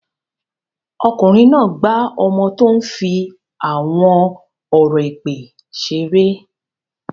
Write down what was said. Ọkùnrin náà gbá ọmọ tó ń fi àwọn ọ̀rọ̀ èpè ṣeré.